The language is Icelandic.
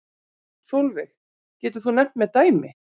Sólveig: Getur þú nefnt mér dæmi?